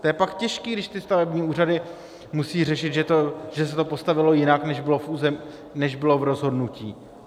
To je pak těžké, když ty stavební úřady musí řešit, že se to postavilo jinak, než bylo v rozhodnutí.